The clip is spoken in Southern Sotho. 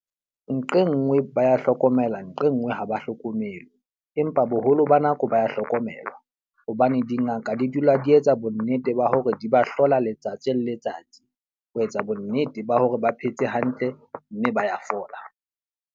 Nqe nngwe ba ya hlokomela nqe nngwe ha ba hlokomelwe. Empa boholo ba nako ba ya hlokomelwa. Hobane dingaka di dula di etsa bo nnete ba hore di ba hlola letsatsi le letsatsi ho etsa bo nnete ba hore ba phetse hantle mme ba ya fola.